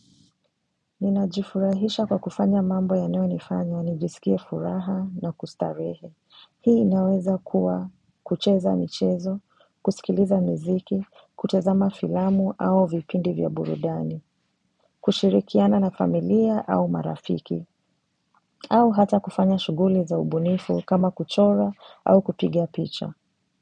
Ninajifurahisha kwa kufanya mambo yanayonifanya nijisikie furaha na kustarehe. Hii inaweza kuwa kucheza michezo, kusikiliza mziki, kutazama filamu au vipindi vya burudani, kushirikiana na familia au marafiki, au hata kufanya shughuli za ubunifu kama kuchora au kupigia picha.